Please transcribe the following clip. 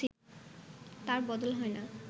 তার বদল হয় না